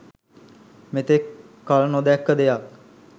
මෙතෙක් කල්නොදැක්ක දෙයක්